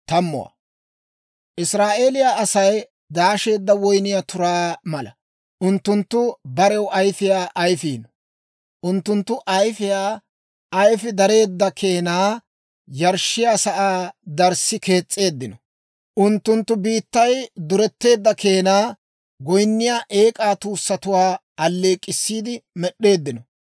Israa'eeliyaa Asay daasheedda woyniyaa turaa mala; unttunttu barew ayfiyaa ayifiino. Unttunttu ayifiyaa ayfii dareedda keenaa yarshshiyaa sa'aa darssi kees's'eeddino. Unttunttu biittay duretteedda keenaa, goyinniyaa eek'aa tuussatuwaa alleek'k'issiide med'd'eeddino.